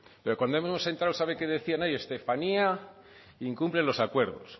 pero cuando hemos entrado sabe qué decían ahí estefanía incumple los acuerdos